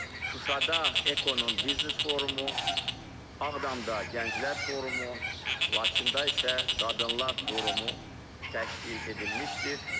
Şuşada EKO-nun biznes forumu, Ağdamda Gənclər forumu, Laçında isə Qadınlar forumu təşkil edilmişdir.